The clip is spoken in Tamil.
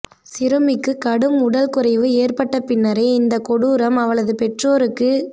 சிறுமிக்கு கடும் உடல் குறைவு ஏற்பட்ட பின்னரே இந்த கொடூரம் அவளது பெற்றோருக்கு